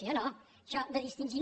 sí o no això de distingir